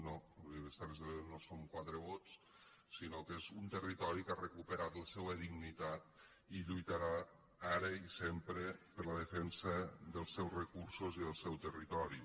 no a les terres de l’ebre no som quatre vots sinó que és un territori que ha recuperat la seua dignitat i lluitarà ara i sempre per la defensa dels seus recursos i del seu territori